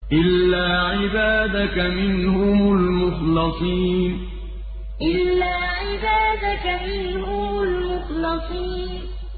إِلَّا عِبَادَكَ مِنْهُمُ الْمُخْلَصِينَ إِلَّا عِبَادَكَ مِنْهُمُ الْمُخْلَصِينَ